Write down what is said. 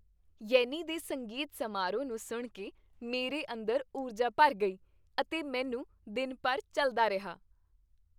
ਯੈਨੀ ਦੇ ਸੰਗੀਤ ਸਮਾਰੋਹ ਨੂੰ ਸੁਣ ਕੇ ਮੇਰੇ ਅੰਦਰ ਊਰਜਾ ਭਰ ਗਈ ਅਤੇ ਮੈਨੂੰ ਦਿਨ ਭਰ ਚੱਲਦਾ ਰਿਹਾ।